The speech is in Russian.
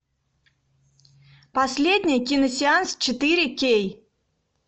последний киносеанс четыре кей